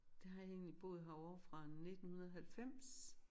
Der har jeg egentlig boet herovre fra 1990